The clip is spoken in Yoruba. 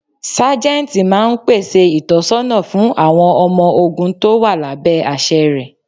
Sájẹ́ntì máa ń pèsè ìtọ̀sọ́nà fún àwọn ọmọ ogún tó wà lábẹ́ àṣẹ rẹ.